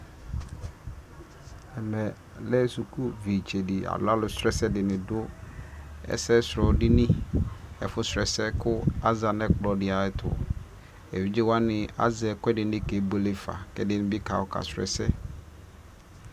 alʋ sɛdɔ zanʋ kɛkɛvi aɣa kʋ ɛdi azɛ bɔlʋ ka kpɔ nʋ ala kʋ alʋ ɔnɛ wani ɛdibi zanʋ atami idʋ kakɔsʋ, atani lɛ asii la zanʋ ɛƒʋɛ ɣ